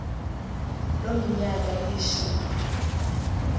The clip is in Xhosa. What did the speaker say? loo minyaka ilishumi